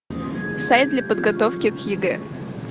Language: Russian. сайт для подготовки к егэ